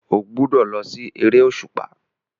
Ó gbúdọ̀ lọ sí eré òṣùpá.